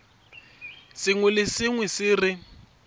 sengwe le sengwe se re